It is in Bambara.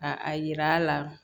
A a yira la